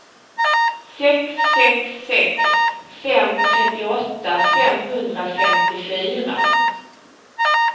sex sex sex fem trettioåtta femhundrafemtiofyra